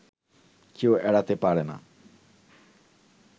কেউ এড়াতে পারেনা